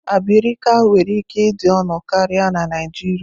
Abirika nwere ike ịdị ọnụ karịa na Naijiria.